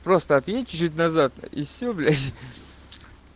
просто отъедь чуть-чуть назад и все блять